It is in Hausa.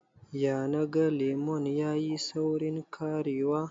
ya naga lemon ya yi saurin karewa?